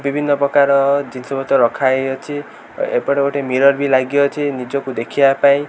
ବିଭିନ୍ନ ପ୍ରକାର ଜିନିଷପତ୍ର ରଖାହେଇଅଛି ଏ ଏପଟେ ଗୋଟେ ମିରର ବି ଲାଗିଅଛି ନିଜକୁ ଦେଖିବା ପାଇଁ।